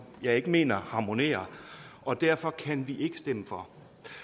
vi ikke mener harmonerer og derfor kan vi ikke stemme for